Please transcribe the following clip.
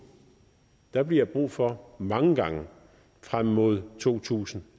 der bliver brug for mange gange frem mod to tusind